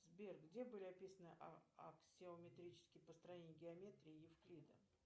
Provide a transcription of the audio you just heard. сбер где были описаны аксиометрические построения геа ометрии евклида